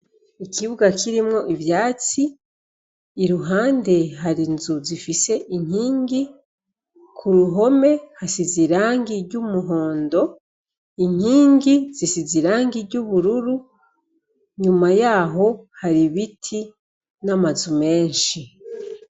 Ikibuga kirimwo ivyatsi iruhande hari inzu zifise inkingi kuruhome hasize irangi ry' umuhondo inkingi zisize irangi ry' ubururu inyuma yaho hari ibiti n' amazu menshi.